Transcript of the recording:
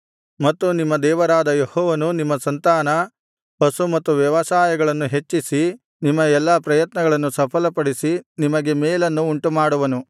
ಮತ್ತು ನಿಮ್ಮ ದೇವರಾದ ಯೆಹೋವನು ನಿಮ್ಮ ಸಂತಾನ ಪಶು ಮತ್ತು ವ್ಯವಸಾಯಗಳನ್ನು ಹೆಚ್ಚಿಸಿ ನಿಮ್ಮ ಎಲ್ಲಾ ಪ್ರಯತ್ನಗಳನ್ನು ಸಫಲಪಡಿಸಿ ನಿಮಗೆ ಮೇಲನ್ನು ಉಂಟುಮಾಡುವನು